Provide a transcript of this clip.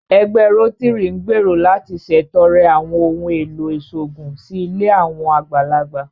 Ẹgbẹ́ Rótírì ń gbèrò láti ṣètọrẹ àwọn ohùn èlò ìṣòògùn sí ilé àwọn àgbàlagbà